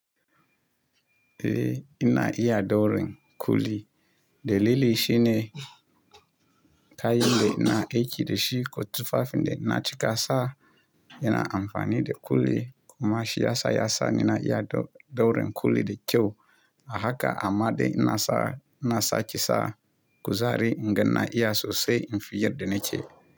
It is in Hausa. Eh ina iya ɗaurin kuli. Da lilin shine kayin da ina aiki da shi ko tufafin da ina cika sa. Ina amfani da kuli kuma shi yasa yasa ni na iya ɗaurin kuli da kyau. A haka amma dai ina sa, ina saki sa kuzari ingan na iya sosai in fi yadda na ce.